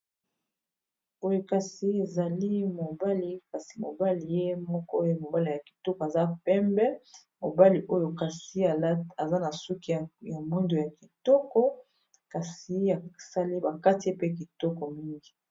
Oyo kasi ezali mobali kasi mobali ye moko oyo mobali ya kitoko aza pembe mobali oyo kasi aza na suki ya mwindo ya kitoko kasi ya sale ba katie ye pe kitoko mingi.